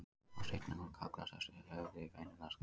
Á seinni árum kallaðist þessi höfði venjulega Skaft.